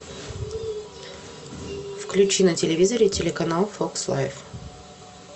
включи на телевизоре телеканал фокс лайф